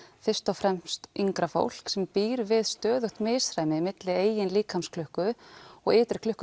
fyrst og fremst yngra fólk sem býr við stöðugt misræmi milli eigins líkamsklukku og ytri klukku